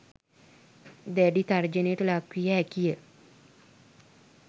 දැඩි තර්ජනයට ලක් විය හැකි ය.